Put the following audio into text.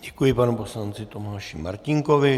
Děkuji panu poslanci Tomáši Martínkovi.